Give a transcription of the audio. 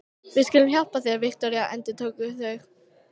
Við skulum hjálpa þér, Viktoría, endurtóku þau.